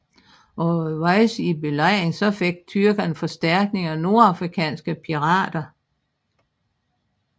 Undervejs i belejringen fik tyrkerne forstærkning af nordafrikanske pirater